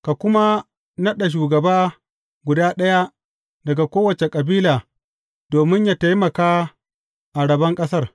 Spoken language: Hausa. Ka kuma naɗa shugaba guda ɗaya daga kowace kabila domin yă taimaka a rabon ƙasar.